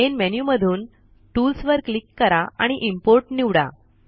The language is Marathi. मेन मेन्यु मधून टूल्स वर क्लिक करा आणि इम्पोर्ट निवडा